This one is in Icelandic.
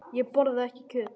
Ég borða ekki kjöt.